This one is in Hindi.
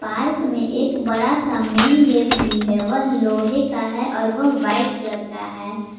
पार्क में एक बड़ा सा मेन गेट भी है वह लोहे का है और वह व्हाइट कलर का है।